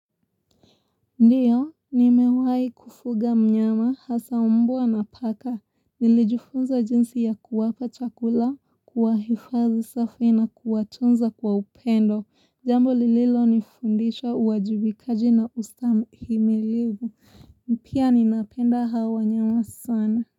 Ndiyo, nimewahi kufuga mnyama, hasa umbwa na paka. Nilijifunza jinsi ya kuwapa chakula, kuwahifadhi safi na kuwatunza kwa upendo. Jambo lililonifundisha uwajibikaji na ustahimilivu. Pia ninapenda hawanyama sana.